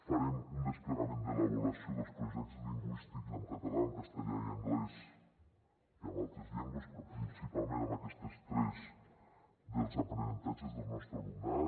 farem un desplegament de l’avaluació dels projectes lingüístics en català en castellà i anglès i en altres llengües però principalment en aquestes tres dels aprenentatges del nostre alumnat